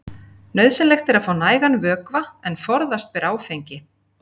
Nauðsynlegt er að fá nægan vökva en forðast ber áfengi.